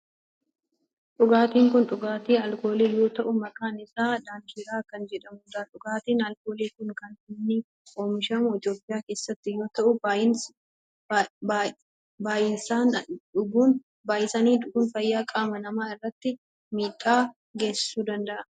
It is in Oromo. Dhugaatin kun dhugaati alkoolii yoo ta'u maqaan isaa Daankiraa kan jedhamudha. Dhugaatin alkoolii kun kan inni oomishamu Itiyoophiyaa keessatti yoo ta'u baayisanii dhuguun fayyaa qaama namaa irratti miidhaa geessisuu danda'a.